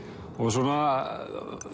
svona